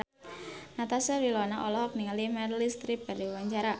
Natasha Wilona olohok ningali Meryl Streep keur diwawancara